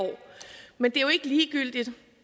men det er jo ikke ligegyldigt